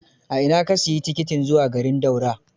A ina ka siyi tikitin zuwa garin Daura?